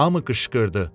Hamı qışqırdı: